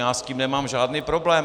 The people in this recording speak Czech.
Já s tím nemám žádný problém.